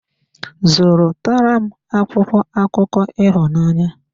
Zụrụ tara m akwụkwọ akụkọ ịhụnanya.